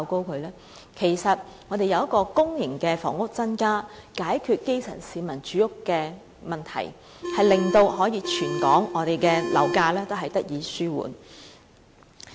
其實我們建議增加公營房屋，以期解決基層市民住屋的問題，甚至可以令全港樓價高漲問題得以紓緩。